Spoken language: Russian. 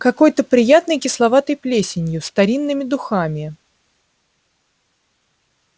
какой-то приятной кисловатой плесенью старинными духами